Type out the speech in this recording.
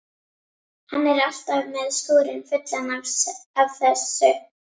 Hann er alltaf með skúrinn fullan af þessu.